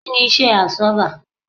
Kí ni Iṣẹ́ àbsọ́bà?